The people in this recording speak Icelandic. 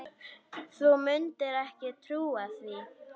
Þú mundir ekki trúa því.